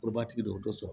Olu b'a tigi don o t'o sɔrɔ